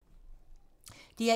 DR1